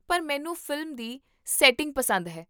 ਪਰ ਮੈਨੂੰ ਫ਼ਿਲਮ ਦੀ ਸੈਟਿੰਗ ਪਸੰਦ ਹੈ